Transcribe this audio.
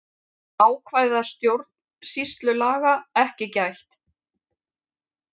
Ákvæða stjórnsýslulaga ekki gætt